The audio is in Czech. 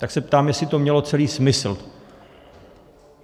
Tak se ptám, jestli to celé mělo smysl.